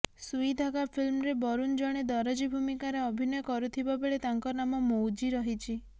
ସୁଇ ଧାଗା ଫିଲ୍ମରେ ବରୁନ ଜଣେ ଦରଜି ଭୂମିକାରେ ଅଭିନୟ କରୁଥିବା ବେଳେ ତାଙ୍କ ନାମ ମୌଜି ରହିଛି